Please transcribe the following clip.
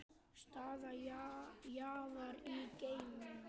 Staða jarðar í geimnum